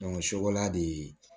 sokola de